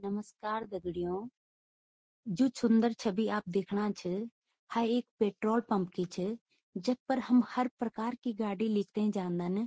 नमस्कार दग्ड़ियों जु छुन्दर छवि आप दिखणा छ ह इक पेट्रोल पंप की च जख पर हम हर प्रकार की गाडी लेकतैं जान्दन।